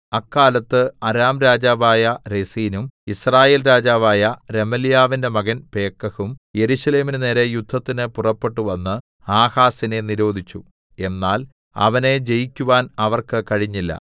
അക്കാലത്ത് അരാം രാജാവായ രെസീനും യിസ്രായേൽ രാജാവായ രെമല്യാവിന്റെ മകൻ പേക്കഹും യെരൂശലേമിന് നേരെ യുദ്ധത്തിന് പുറപ്പെട്ടുവന്ന് ആഹാസിനെ നിരോധിച്ചു എന്നാൽ അവനെ ജയിക്കുവാൻ അവർക്ക് കഴിഞ്ഞില്ല